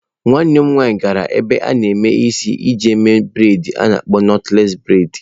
Nwa nwanne nna m gara n'ebe a na-eme isi iji mee bredị a na-akpọ nọtles bredị.